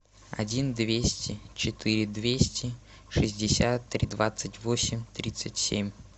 один двести четыре двести шестьдесят три двадцать восемь тридцать семь